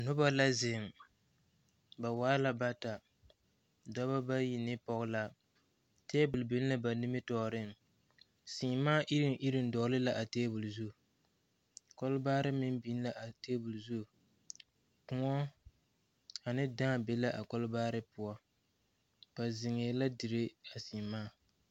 Noba la zeŋ ba waa la bata dɔbɔ bayi ne pɔge la tebol biŋ la ba nimitɔɔreŋ seemaa iruŋ iruŋ dɔgle la a tebol zu kolbaare meŋ biŋ la a tebol zu kõɔ ane dãã be la a kolbaare poɔ ba zeŋɛɛ la dire a seemaa.